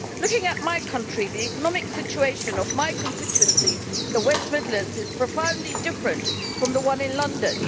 Looking at my country, the economic situation of my constituency, the West Midlands, is profoundly different from the one in London.